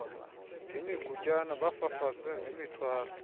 ngemigutyana bafafaze nemithwalo